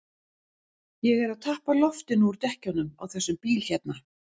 Ég er að tappa loftinu úr dekkjunum á þessum bíl hérna.